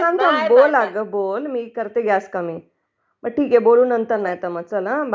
अग बोलं बोलं.. करते मी गॅस कमी ...बरं ठीक आहे बोलू मग नंतर नाही तर मग चला हो बाय